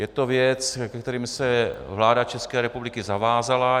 Je to věc, ke které se vláda České republiky zavázala.